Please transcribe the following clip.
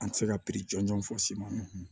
An ti se ka jɔnjɔn fɔ s'i ma